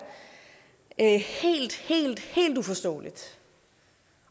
helt helt uforståeligt